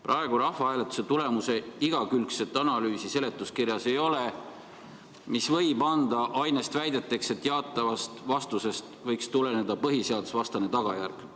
Praegu rahvahääletuse tulemuse igakülgset analüüsi seletuskirjas ei ole, mis võib anda ainest väideteks, et jaatavast vastusest võiks tuleneda põhiseadusvastane tagajärg.